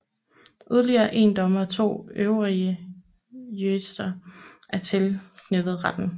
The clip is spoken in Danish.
Yderligere 1 dommer og 2 øvrige jurister er tilknyttet retten